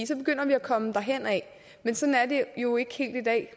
så begynder vi at komme derhenad men sådan er det jo ikke helt i dag